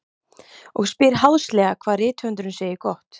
Og spyr háðslega hvað rithöfundurinn segi gott.